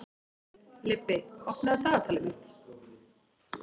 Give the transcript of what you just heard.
Leibbi, opnaðu dagatalið mitt.